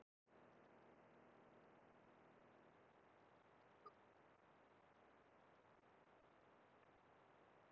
Með þessum lögum komst framkvæmd rannsókna og jarðhitaborana í fastar skorður.